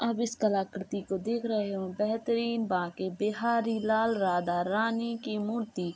आप इस कलाकृति को देख रहे हो बेहतरीन बाके बिहार लाल राधा रानी की मूर्ति --